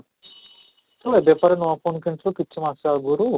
ହଁ, ବେକାର ନୂଆ phone କିଣିଛୁ କିଛି ମାସ ଆଗରୁ